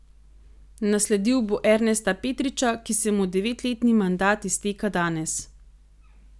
Nasledil bo Ernesta Petriča, ki se mu devetletni mandat izteka danes.